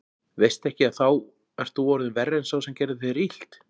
Veistu ekki að þá ert þú orðinn verri en sá sem gerði þér illt?